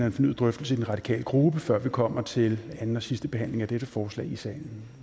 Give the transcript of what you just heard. en fornyet drøftelse i den radikale gruppe før vi kommer til anden og sidste behandling af dette forslag i salen